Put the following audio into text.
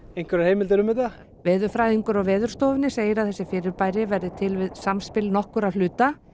einhverjar heimildir um þetta veðurfræðingur á Veðurstofunni segir að þessi fyrirbæri verði til við samspil nokkurra hluta